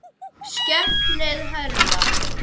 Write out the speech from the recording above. Stefnið hærra.